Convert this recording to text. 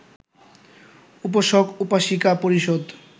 উপাসক-উপাসিকা পরিষদ